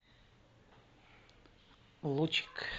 лучик